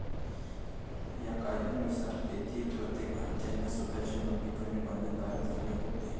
या कायद्यानुसार तेथील प्रत्येक भारतीयाला स्वताची नोदणी करणे बंधनकारक झाले होते.